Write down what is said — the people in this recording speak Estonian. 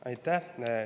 Aitäh!